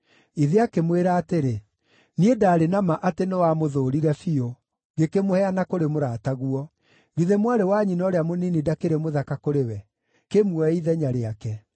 Ithe akĩmwĩra atĩrĩ, “Niĩ ndaarĩ na ma atĩ nĩwamũthũũrire biũ, ngĩkĩmũheana kũrĩ mũrataguo. Githĩ mwarĩ wa nyina ũrĩa mũnini ndakĩrĩ mũthaka kũrĩ we? Kĩmuoe ithenya rĩake.”